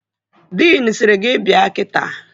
Diin sịrị gị bịa kita!